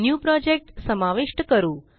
new project समाविष्ट करू